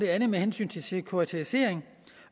er med hensyn til sekuritisering